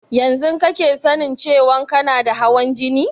Yanzun kake sanin cewan kana da hawan jini?